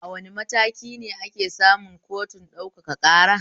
A wane matakine ake samun kotun ɗaukaka ƙara?